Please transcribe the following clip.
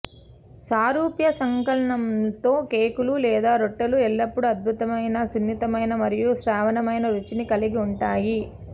సారూప్య సంకలనంతో కేకులు లేదా రొట్టెలు ఎల్లప్పుడూ అద్భుతమైన సున్నితమైన మరియు శ్రావ్యమైన రుచిని కలిగి ఉంటాయి